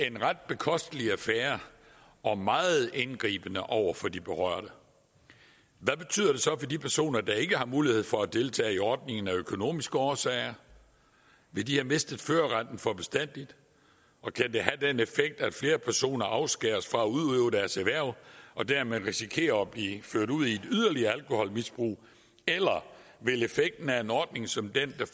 en ret bekostelig affære og meget indgribende over for de berørte hvad betyder det så for de personer der ikke har mulighed for at deltage i ordningen af økonomiske årsager vil de have mistet førerretten for bestandig og kan det have den effekt at flere personer afskæres fra at udøve deres erhverv og dermed risikerer at blive ført ud i et yderligere alkoholmisbrug eller vil effekten af en ordning som den